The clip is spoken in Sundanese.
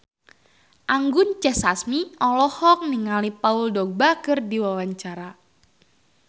Anggun C. Sasmi olohok ningali Paul Dogba keur diwawancara